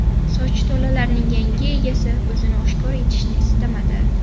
Soch tolalarining yangi egasi o‘zini oshkor etishni istamadi.